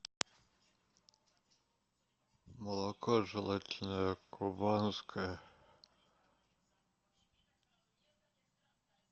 молоко желательно кубанское